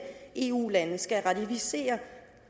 eu lande skal ratificere